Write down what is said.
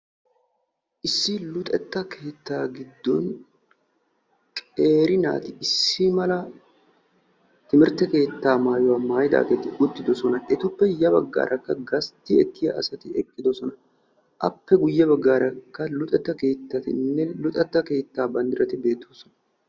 issi luxetta keetta giddon qeeri naati issi mala timirtte maayuwaa maayidaageti uttidoosona. etappe guyye baggaarakka luxetta keetta maayida naati uttidoosona. appe guyye baggaara qa luxetta keetta banddirati uttidoosona